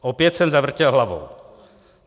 Opět jsem zavrtěl hlavou.